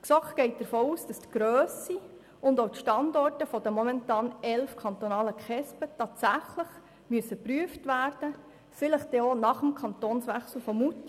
Die GSoK geht davon aus, dass Grösse und Standorte der momentan elf kantonalen KESB tatsächlich geprüft werden müssen, vielleicht dann auch nach dem Kantonswechsel von Moutier.